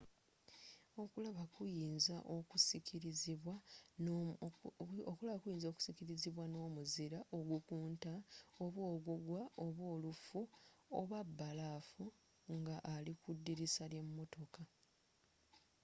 okulaba kuyinza okusiikirizibwa n'omuzira ogukunta oba ogugwa oba olufu oba bbalaafu nga ali ku ddirisa ly'emmotoka